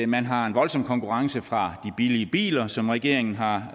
man har en voldsom konkurrence fra de billige biler som regeringen har